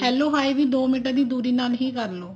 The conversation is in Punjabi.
hello ਹਾਏ ਵੀ ਦੋ ਮੀਟਰ ਦੀ ਦੂਰੀ ਨਾਲ ਹੀ ਕਰ ਲਿਓ